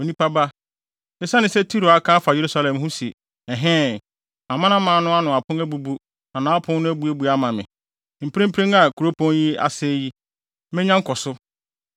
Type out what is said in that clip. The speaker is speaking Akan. “Onipa ba, esiane sɛ Tiro aka afa Yerusalem ho se, ‘Ɛhɛɛ! Amanaman no ano pon abubu na nʼapon no abuebue ama me; mprempren a kuropɔn yi asɛe yi, menya nkɔso.’